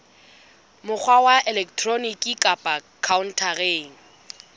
mokgwa wa elektroniki kapa khaontareng